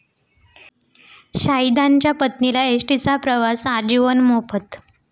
शहिदांच्या पत्नीला एसटीचा प्रवास आजीवन मोफत